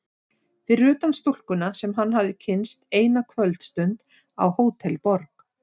Fyrir utan stúlkuna sem hann hafði kynnst eina kvöldstund á Hótel Borg.